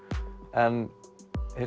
en hins